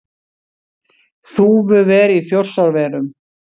Þúfuver í Þjórsárverum.